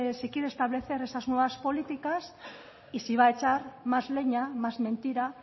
si quiere estableces esas nuevas políticas y si va a echar más leña más mentira